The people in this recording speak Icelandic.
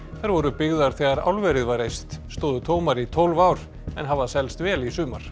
þær voru byggðar þegar álverið var reist stóðu tómar í tólf ár en hafa selst vel í sumar